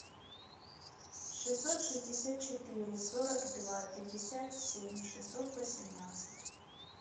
шестьсот шестьдесят четыре сорок два пятьдесят семь шестьсот восемнадцать